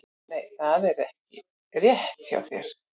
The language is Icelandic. Nei, það er ekki rétt hjá þér!